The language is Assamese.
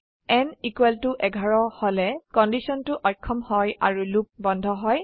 n 11 হলে কন্ডিশনটো অক্ষম হয় আৰু লুপ বন্ধ হয়